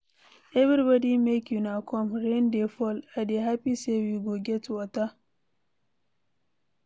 Everybody make una come, rain dey fall. I dey happy say we go get water.